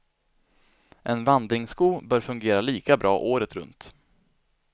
En vandringssko bör fungera lika bra året runt.